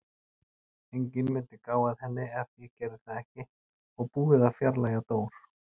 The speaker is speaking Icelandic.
Enginn mundi gá að henni ef ég gerði það ekki og búið að fjarlægja Dór.